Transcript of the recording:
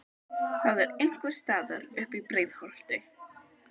Það var einhvers staðar uppi í Breiðholti.